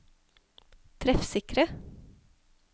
treffsikre